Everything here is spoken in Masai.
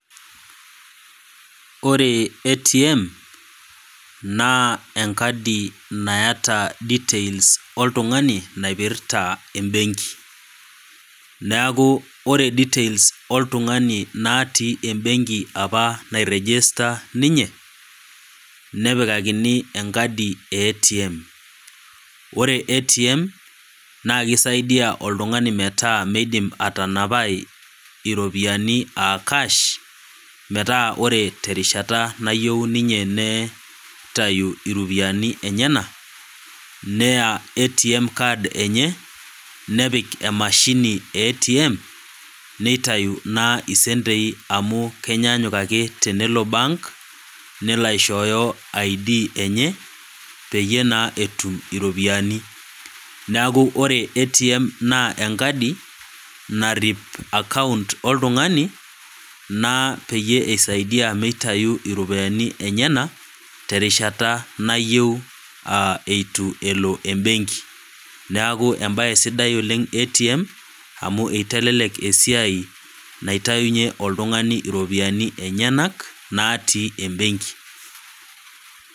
Ore ATM naa enkadi naata details oltungani naipirta embenki, neeku ore details oltungani natii embenki apa nairegister ninye nepikakini enkadi eATM. Ore ATM naa kisaidia oltungani metaa meidim atanapai iropiyiani aacash metaa ore terishata nayieu ninye neitayu iropiyiani enyenak , neya ATM card enye , nepik emashini eATM , nitayu naa isentei amu kenyanyuk ake tenelo bank nelo aishooyo ID peyie naa etum iropiyiani . Neeku oreATM naa enkadi narip account oltungani naa peisaidia meitayu iropiyiani enyenak terishata nayieu eitu elo embenki . Neeku embae sidai oleng ATM amu itelelek esiai naitayunyie oltungani iropiyiani enyenak natii embanki.